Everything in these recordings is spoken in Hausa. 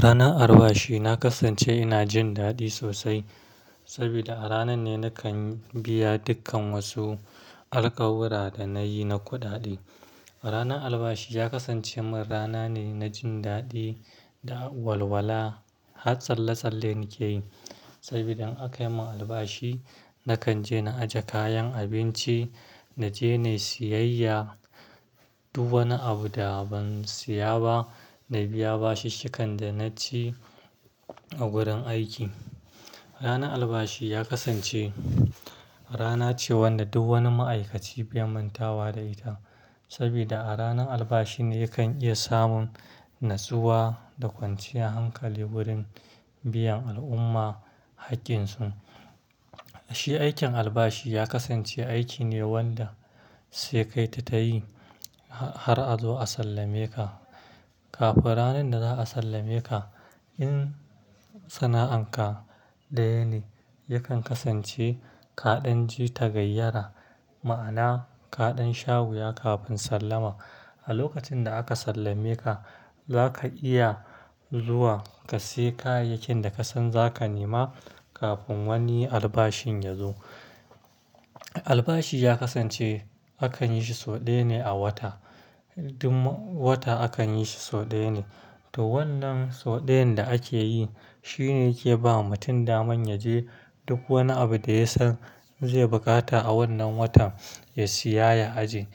Ranan albashi na kasance ina jin daɗi sosai, saboda a ranan ne nakan biya dukkan wasu alƙawura da na yi na kuɗaɗe. Ranar albashi ya kasance min rana ne na jin daɗi da walwala. Har tsalle-tsalle nake yi, saboda in aka yi mun albashi, nakan je na aje kayan abinci, na je na yi siyayya. Duk wani abu da ban siya ba, na biya bashinkan da naci a gurin aiki. Ranar albashi ya kasance rana ce wanda duk wani ma'aikaci bai mantawa da ita. Saboda a ranar albashi ne yakan iya samun natsuwa da kwanciyar hankali wurin biyan al'umma haƙƙinsu. Shi aikin albashi ya kasance aiki ne wanda sai kai ta ta yi har a zo a sallame ka. Kafin ranar da za a sallame ka, in sana'anka ɗaya ne, yakan kasance kaɗan ji ta gayyara. Ma'ana, kaɗan wuya kafin sallama. A lokacin da aka sallame ka, zaka iya zuwa ka sayi kayayyakin da ka san zaka nema kafin wani albashin ya zo. Albashi ya kasance akan yi shi sau ɗaya ne a wata. Duk wata akan yi shi sau ɗaya ne. To wannan sau ɗayan da ake yi, shi ne yake bawa mutum daman ya je duk wani abu da ya san zai bukata a wannan watan, ya siya ya ajiye.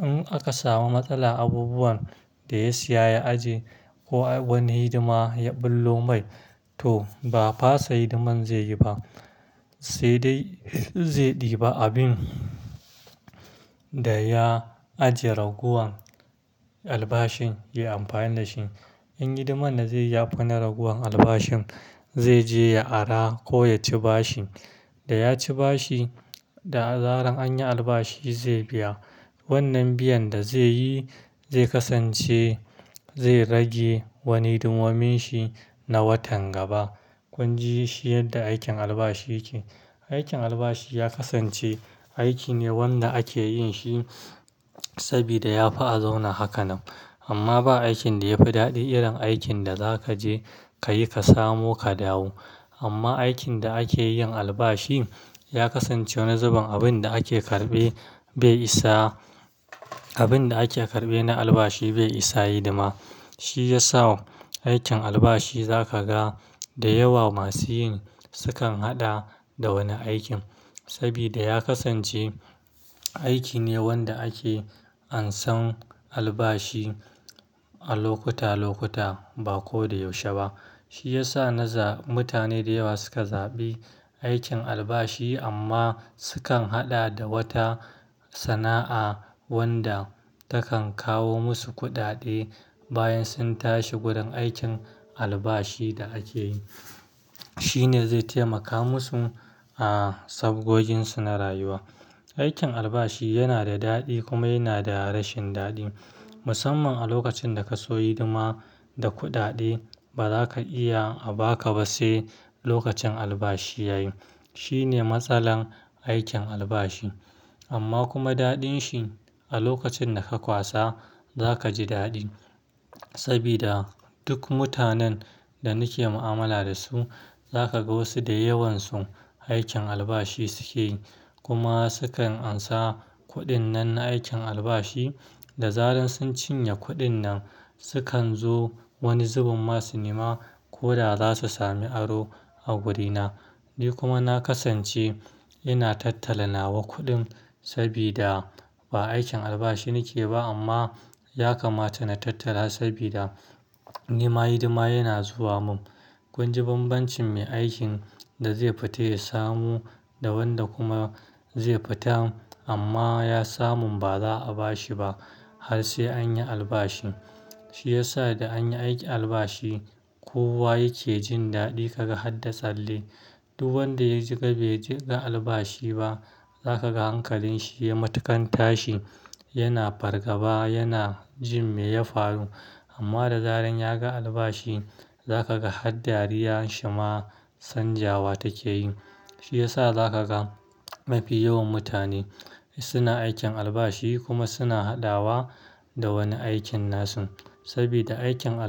In aka samu matsala abubuwan da ya siya ya ajiye ko wani hidima ya ɓullo mai, to ba a fasa hidiman zai yi ba, sai dai zai ɗiba abin da ya ajiye ragowar albashin, ya yi amfani da shi. In hidiman da zai ya fi na ragowar albashin, zai je ya ara ko ya ci bashi. Da ya ci bashi, da zaran anyi albashi zai biya. Wannan biyan da zai yi zai kasance zai rage wani hidimomin shi na watan gaba. Kun ji shi yadda aikin albashi yake. Aikin albashi ya kasance aiki ne wanda ake yin shi sabida ya fi a zauna haka nan. Amma ba aikin da yafi daɗi irin aikin da za ka je ka yi ka samu ka dawo. Amma aikin da ake yin albashi ya kasance wani zubin abin da ake karɓe bai isa, abin da ake karɓe na albashi bai isa yi hidima. Shi ya sa aikin albashi za ka ga da yawa masu yin sukan haɗa da wani aikin. Sabida ya kasance aiki ne wanda ake ansan albashi a lokuta-lokuta ba ko da yaushe ba. Shi ya sa naza mutane da yawa suka zaɓi aikin albashi amma sukan haɗa da wata sana'a wanda takan kawo musu kuɗaɗe bayan sun tashi gurin aikin albashi da ake yi. Shi ne zai taimaka musu a sabgojin su na rayuwa. Aikin albashi yana da daɗi kuma yana da rashin daɗi. Musamman a lokacin da ka so yi hidima da kuɗaɗe, ba za ka iya a ba ka ba sai lokacin albashi ya yi. Shi ne matsalar aikin albashi. Amma kuma daɗin shi a lokacin da ka kwasa za ka ji daɗi. Sabida duk mutanen da nake mu'amala da su, za ka ga wasu da yawansu aikin albashi suke yi. Kuma sukan ansa kuɗin nan na aikin albashi, da zaran sun cinye kuɗin nan, sukan zo wani zubin masu nema ko da za su sami aro a gurina. Ni kuma na kasance ina tattala nawa kuɗin sabida ba aikin albashi nake ba amma ya kamata na tattala sabida ni ma hidima yana zuwa mun. Kun ji banbancin me aikin da zai fita ya samu da wanda kuma zai fita amma ya samun ba za a bashi ba har sai anyi albashi. Shi ya sa da anyi aikin albashi, kowa yake jin daɗi ka ga har da tsalle. Duk wanda ya ji bai ji ba albashi ba, za ka ga hankalin shi yai matuƙan tashi. Yana fargaba, yana jin me ya faru. Amma da zaran ya ga albashi, za ka ga har dariyan shi ma canjawa take yi. Shiyasa za ka ga mafi yawan mutane suna aikin albashi kuma suna haɗawa da wani aikin nasu. Sabida aikin albashi.